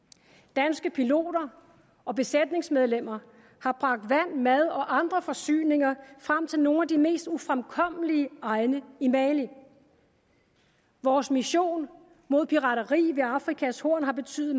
danske piloter og besætningsmedlemmer har bragt vand mad og andre forsyninger frem til nogle af de mest ufremkommelige egne i mali vores mission mod pirateri ved afrikas horn har betydet